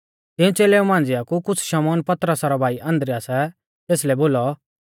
तिऊं च़ेलेऊ मांझ़िया कु शमौन पतरसा रौ भाई अन्द्रियासै तेसलै बोलौ